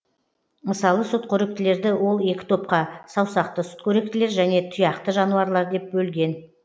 мысалы сүтқоректілерді ол екі топқа саусақты сүтқоректілер және тұяқты жануарлар деп бөлген